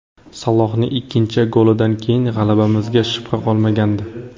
Salohning ikkinchi golidan keyin g‘alabamizga shubha qolmagandi.